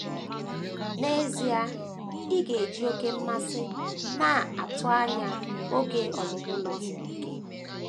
N’ezie, ị ga - eji oké mmasị na - atụ anya oge ọmụmụ Novel gị.